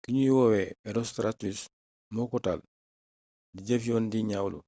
ki ñuy woowe herostratus moo ko taal di jëf yoon di ñaawlu